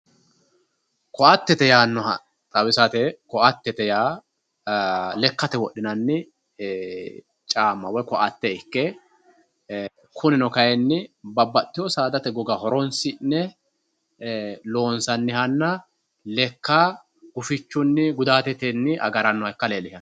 Koattete yaanoha xawisate, koattete yaa lekkate wodhinanni caama woyi koatte ikke kunino kayinni babbaxxitino saadate goga horonsi'ne loonsannihanna lekka gufichuni gudatunni agaranoha ikka leelishano.